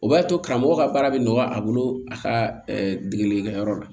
O b'a to karamɔgɔ ka baara bɛ nɔgɔya a bolo a ka dege degeli kɛ yɔrɔ la